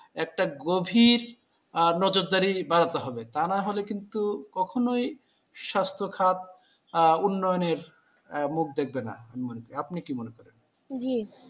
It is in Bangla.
একটা গভীর আহ নজরদারি বাড়াতে হবে, তা না হলে কিন্তু কখনোই স্বাস্থ্য খাত আহ উন্নয়নের মুখ দেখবে না, আমি মনে করি আপনি কি মনে করেন?